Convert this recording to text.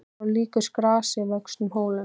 Bjór er síaður gegnum kísilgúr fyrir átöppun.